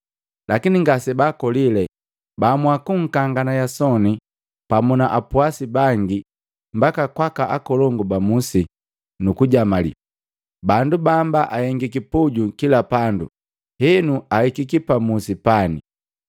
lakini ngase baakolile, baamua kunkangana Yasoni pamu na apwasi bangi mbaka kwaaka akolongu ba musi, nuku jamali, “Bandu bamba ahengiki puju kila pandu henu ahikiki pa musi pani.”